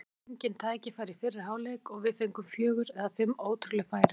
Þeir fengu engin tækifæri í fyrri hálfleik og við fengum fjögur eða fimm ótrúleg færi.